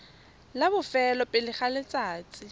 la bofelo pele ga letsatsi